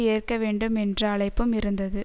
ஏற்க வேண்டும் என்ற அழைப்பும் இருந்தது